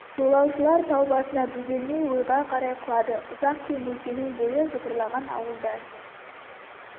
жолаушылар тау басына бөгелмей ойға қарай құлады ұзақ кең өлкенің бойы жыпырлаған ауылдар